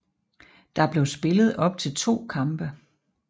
Der blev spillet op til to kampe